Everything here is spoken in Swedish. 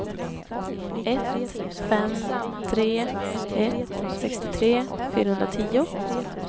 ett fem tre ett sextiotre fyrahundratio